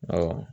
Ɔ